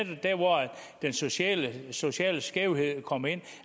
den sociale sociale skævhed kommer ind